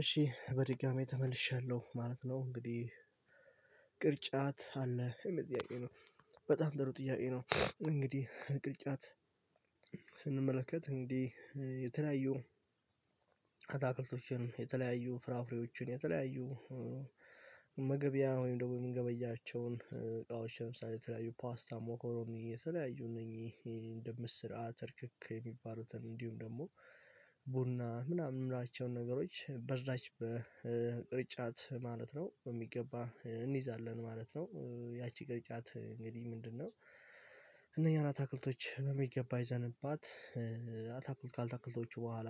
እሺ በድጋሚ ተመልሻለሁ ማለት ነው እንግዲህ ቅርጫት አለህ? የየሚል ጥያቄ ነው በጣም ጥሩ ጥያቄ ነው። እንግዲህ ቅርጫት ስንመለከት እንግዲህ የተለያዩ አታክልቶችን የተለያዩ ፍራፍሬዎችን የተለያዩ መገቢያ ወይም ደግሞ የምንገበያቸውን እቃዎች ለምሳሌ የተለያዩ ፓስታ ሞኮሮኒ የተለያዩ እነኝህ እንደ ምስር፣ አተር፣ ክክ የሚባሉትን እንዲሁም ደግሞ ቡና ምናምን የምላቸውን ነገሮች በዛች በቅርጫት ማለት ነው በሚገባ እንይዛለን ማለት ነው ያቺ ቅርጫት እንግዲህ ምንድነው እነኚህን አታክልቶች በሚገባ ይዘንባት አታክልት አልታክልቶች በኋላ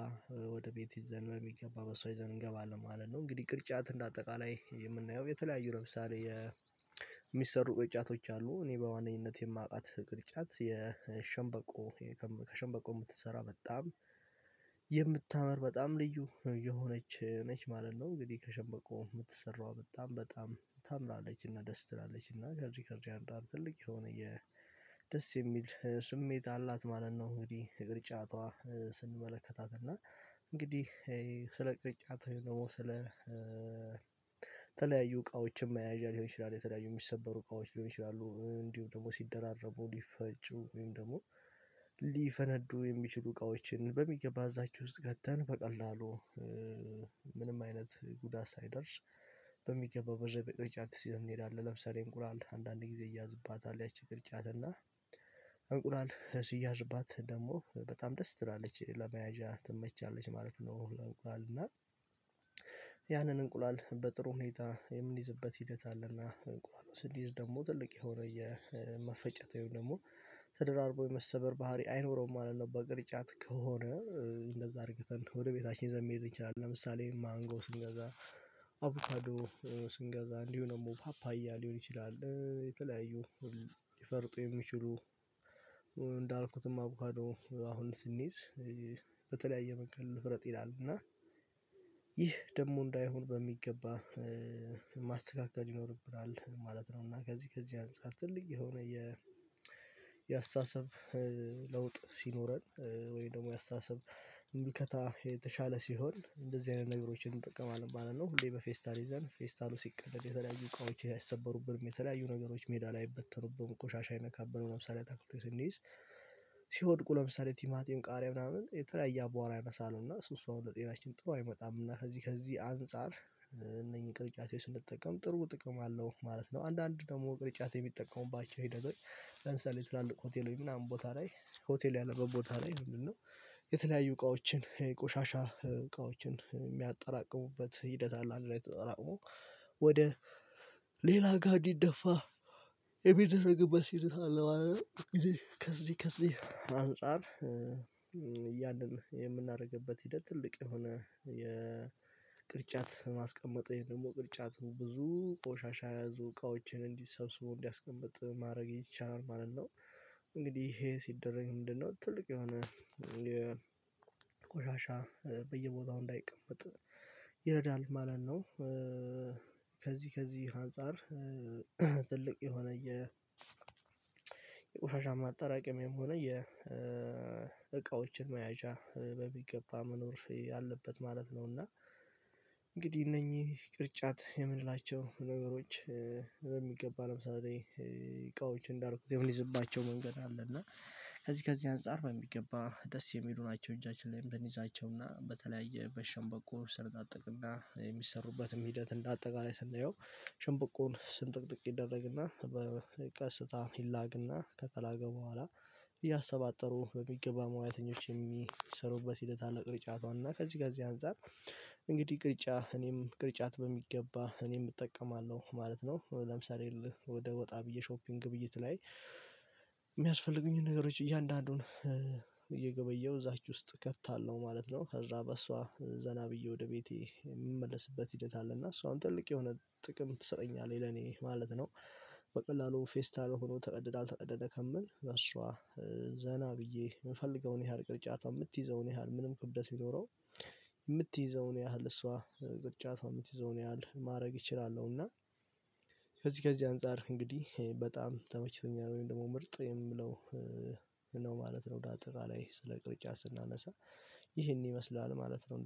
ወደ ቤት ይዘን በሚገባ በሰው ይዘን እንገባለን ማለት ነው እንግዲህ ቅርጫት እንደ አጠቃላይ የምናየው የተለያዩ ለምሳሌ የሚሰሩ ጩኸቶች አሉ እኔ በዋነኝነት የማውቃት ግርጫት የሸንበቆ ከሸንበቆ የምትሰራ በጣም የምታምር በጣም ልዩ የሆነች ነች ማለት ነው እንግዲህ ከሸበቆ የምትሰራው በጣም በጣም ታምራለችና ደስ ትላለችና ከዚህ ከዚህ አንፃር ትልቅ የሆነ የደስ የሚል ስሜት አላት ማለት ነው ነው እንግዲህ ቅርጫቷ ስንመለከታት እና እንግዲህ ስለ ቅርጫቷ ደግሞ ስለ ተለያዩ እቃዎችም መያዣ ሊሆን ይችላል የተለያዩ የሚሰበሩ እቃዎች ሊሆን ይችላሉ እንዲሁ ደግሞ ሲደራረቡ ሊፈጩ ወይም ደግሞ ሊፈነዱ የሚችሉ እቃዎችን በሚገባ እዛችው ውስጥ ገብተን በቀላሉ ምንም አይነት ጉዳት ሳይደርስ በሚገባው በርግጥ በቅርጫት ይዘን እንሄዳለን ለምሳሌ እንቁራል አንዳንድ ጊዜ ይያዝባት ያቺ ቅርጫት እና እንቁላል ሲያዝባት ደግሞ በጣም ደስ ትላለች ለመያዣ ትመቻለች ማለት ነው ለእንቁላል እና ያንን እንቁላል በጥሩ ሁኔታ የምንይዝበት ሂደት አለና እንቁላለን ስንይዝ ደግሞ ትልቅ የሆነ የመፈጨታው ደግሞ ተደራርቦ የመሰበር ባህሪ አይኖረውም ማለት ነው በቅርጫት ከሆነ እንደዛ አድርገተን ወደ ቤታችን ይዘን መሄድ እንችላለን ለምሳሌ ማንጎ ስንገዛ አቡታዶ ስንገዛ እንዲሁ ደግሞ ፓፓያ ሊሆን ይችላል የተለያዩ ሊፈርጡ የሚችሉ እንዳልኩትም አቡካዶ አሁን ስንይዝ በተለያየ መንገድ ልፍረጥ ይላልና ይህ ደግሞ እንዳይሆን በሚገባ ማስተካከል ይኖርብናል ማለት ነው እና ከዚህ ከዚህ አንፃር ትልቅ የሆነ የአስተሳሰብ ለውጥ ሲኖረን ወይም ደግሞ የአስተሳሰብ ምልከታ የተሻለ ሲሆን እንደዚህ አይነት ነገሮችን እንጠቀማለን ማለት ነው። ሁሌ በፌስታል ይዘን ፌስታሉ ሲቀደድ የተለያዩ እቃዎች አይሰበሩብንም የተለያዩ ነገሮች ሜዳ ላይ አይበተኑብንም ቆሻሻ የነካብንን ለምሳሌ አታክልቶች ስንይዝ ሲወድቁ ለምሳሌ ቲማቲም ቃሪያ ምናምን የተለያየ አቧራ ያነሳሉና እሱሱ አሁን ለጤናችን ጥሩ አይመጣምና ከዚህ ከዚህ አንፃር እነኚህ ቅርጫት ስንጠቀም ጥሩ ጥቅም አለው ማለት ነው አንዳንድ ደግሞ ቅርጫት የሚጠቀሙባቸው ሂደቶች ለምሳሌ ትላልቅ ሆቴሎች ግን አንድ ቦታ ላይ ሆቴል ያለበት ቦታ ላይ ይሄንን ነው የተለያዩ እቃዎችን የቆሻሻ እቃዎችን የሚያጠራቅሙበት ሂደት አለ አንድ ላይ ተጠራቅሞ ወደ ሌላ ጋ እንዲደፋ የሚደረግበት ሂደት አለ ማለት ነው እንግዲህከዚህ ከዚህ አንፃር ያንን የምናደርግበት ሂደት ትልቅ የሆነ የቅርጫት ማስቀመጠኝ ደግሞ ቅርጫቱ ብዙ ቆሻሻ የያዙ እቃዎችን እንዲሰብስበው እንዲያስቀምጥ ማድረግ ይቻላል ማለት ነው እንግዲህ ይሄ ሲደረግ ምንድነው ትልቅ የሆነ ቆሻሻ በየቦታው እንዳይቀመጥ ይረዳል ማለት ነው ከዚህ ከዚህ አንፃር ትልቅ የሆነ የቆሻሻ ማጠራቀሚያ የሆነ የ የእቃዎችን መያዣ በሚገባ መኖር ያለበት ማለት ነው እና እንግዲህ እነኚህ ቅርጫት የምንላቸው ነገሮች በሚገባ ለምሳሌ እቃዎች እንዳልኩት የምንይዝባቸው መንገድ አለ እና ከዚህ ከዚህ አንፃር በሚገባ ደስ የሚሉ ናቸው እጃችን ላይ ምን ይዛቸውና በተለያየ በሸንበቆ ስር እሰነጥቅና የሚሰሩበትም ሂደት እንደ አጠቃላይ ስናየው ሽምበቆን ስንጥቅጥቅ ይደረግና በቀስታ ይላግና ከተላገ በኋላ እያሰባጠሩ በሚገባ መዋያተኞች የሚሰሩበት ሂደት አለ ቅርጫቷን እና ከዚህ ጋር እዚህ አንፃር እንግዲህ ቅርጫ እኔም ቅርጫት በሚገባ እኔም እጠቀማለሁ ማለት ነው ለምሳሌ ወደ ወጣ ብዬ ሾፒንግ ግብይት ላይ የሚያስፈልጉኝን ነገሮች እያንዳንዱን እየገበየሁ እዛች ውስጥ ከታለሁ ማለት ነው ከዛ በእሷ ዘና ብዬ ወደ ቤቴ የምመለስበት ሂደት አለና እሷም ትልቅ የሆነ ጥቅም ትሰጠኛለች ለኔ ማለት ነው በቀላሉ ፌስታል ሆኖ ተቀድዳ አልተቀደደ ከምል እሷ ዘና ብዬ የምፈልገውን ያህል ቅርጫታ የምትይዘውን ያህል ምንም ክብደት ቢኖረው የምትይዘውን ያህል እሷ ቅርጫቷ የምትይዘውን ያህል ማድረግ ይችላለሁ እና ከዚህ ከዚህ አንፃር እንግዲህ በጣም ተመችቶኛል ወይም ደግሞ ምርጥ የምለው ነው ማለት ነው እንዳጠቃላይ ስለ ቅርጫት ስናነሳ ይህን ይመስላል ማለት ነው።